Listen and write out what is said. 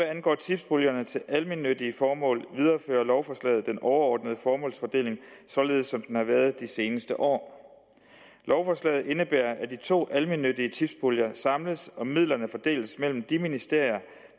angår tipspuljerne til almennyttige formål viderefører lovforslaget den overordnede formålsfordeling således som den har været de seneste år lovforslaget indebærer at de to almennyttige tipspuljer samles og at midlerne fordeles mellem de ministerier